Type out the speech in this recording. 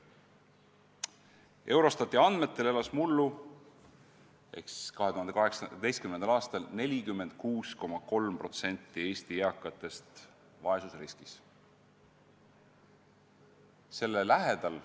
Eurostati andmetel elas mullu ehk 2018. aastal 46,3% Eesti eakatest vaesusriskis.